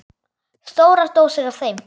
Stórar dósir af þeim.